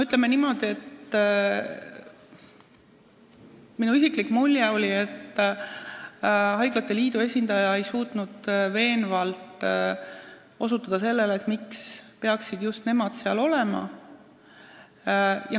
Ütleme niimoodi, et minu isikliku mulje järgi ei suutnud haiglate liidu esindaja veenvalt osutada, miks peaksid just nemad nõukogus olema.